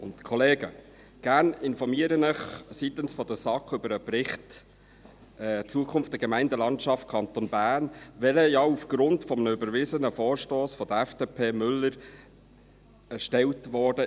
Gerne informiere ich Sie seitens der SAK über den Bericht «Zukunft Gemeindelandschaft Kanton Bern», der ja aufgrund eines überwiesenen Vorstosses der FDP, Müller erstellt wurde.